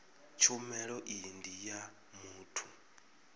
tshumelo iyi ndi ya muthu